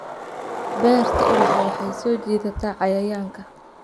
Beerta ubaxa waxay soo jiidataa cayayaanka.